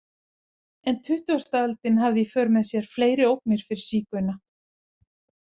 En tuttugasta öldin hafði í för með sér fleiri ógnir fyrir sígauna.